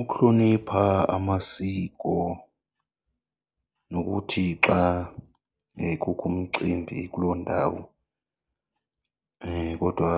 Ukuhlonipha amasiko nokuthi xa kukho umcimbi kuloo ndawo kodwa